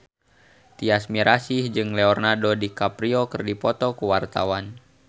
Tyas Mirasih jeung Leonardo DiCaprio keur dipoto ku wartawan